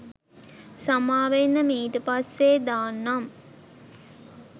සමාවෙන්න මීට පස්සෙ දාන්නම්